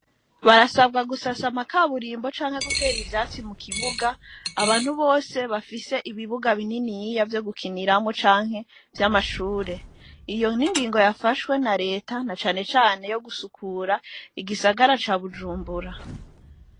Barasabwa gusasa, amakaburimbo, canke gutera ivyatsi, mu kibuga, abantu bose, bafise ibibuga bininiya, vyo gukinirawo, canke vy'amashure; iyo ni ingingo, yafashwe na leta, na can cane, yo gusukura, igisagara ca Bujumbura.